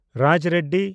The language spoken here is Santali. ᱨᱟᱡᱽ ᱨᱮᱰᱰᱤ